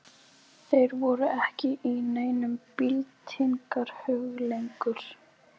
Þeir voru ekki í neinum byltingarhug lengur.